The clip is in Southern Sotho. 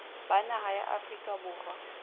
ba naha ya afrika borwa